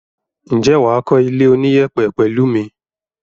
Ǹjẹ́ wà á kọ́ ilé oníyẹ̀pẹ̀ pẹ̀lẹ́ mi?